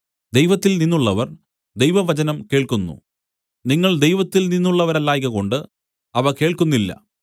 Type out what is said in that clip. ദൈവത്തിൽനിന്നുള്ളവർ ദൈവവചനം കേൾക്കുന്നു നിങ്ങൾ ദൈവത്തിൽ നിന്നുള്ളവരല്ലായ്കകൊണ്ട് അവ കേൾക്കുന്നില്ല